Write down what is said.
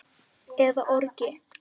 eða orgi.